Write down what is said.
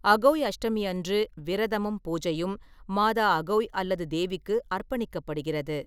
அகோய் அஷ்டமி அன்று விரதமும், பூஜையும் மாதா அகோய் அல்லது தேவிக்கு அர்ப்பணிக்கப்படுகிறது.